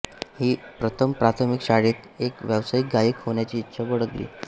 V प्रथम प्राथमिक शाळेत एक व्यावसायिक गायक होण्याची इच्छा बाळगली